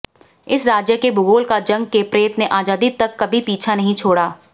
इस राज्य के भूगोल का जंग के प्रेत ने आजादी तक कभी पीछा नहीं छोड़ा